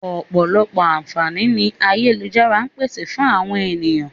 Ọ̀pọ̀lọpọ̀ àǹfààní ni ayélujára ń pèsè fún àwọn ènìyàn